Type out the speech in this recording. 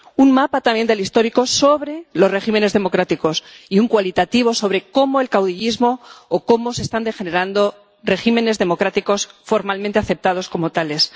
un mapa, también, histórico sobre los regímenes democráticos, y uno cualitativo sobre el caudillismo o cómo están degenerando regímenes democráticos formalmente aceptados como tales.